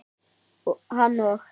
Hann og